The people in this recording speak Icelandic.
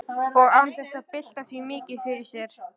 Og án þess að bylta því mikið fyrir sér.